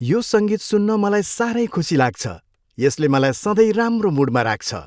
यो सङ्गीत सुन्न मलाई साह्रै खुसी लाग्छ। यसले मलाई सधैँ राम्रो मुडमा राख्छ।